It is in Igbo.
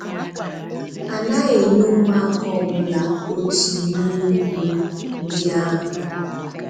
A naghị enye ụmụaka ọ bụla otu ihe ùgwù ndị ahụ